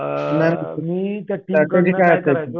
अ strategy काय असायची?